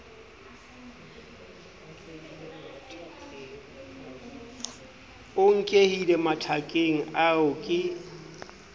a nkehile mathakeng ao ke